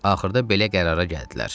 Axırda belə qərara gəldilər.